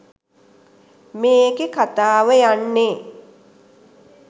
මේකේ කතාව යන්නේ